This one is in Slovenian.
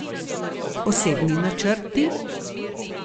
Osebni načrti?